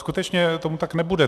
Skutečně tomu tak nebude.